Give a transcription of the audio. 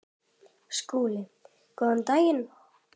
SKÚLI: Góðan daginn!